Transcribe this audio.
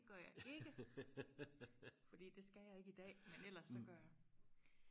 det gør jeg ikke fordi det skal jeg ikke i dag men ellers så gør jeg